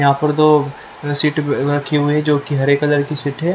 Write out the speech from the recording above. यहां पर दो सिट रखी हुई है जो की हरे कलर की सीट है।